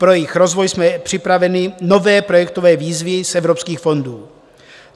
Pro jejich rozvoj jsme připravili nové projektové výzvy z evropských fondů.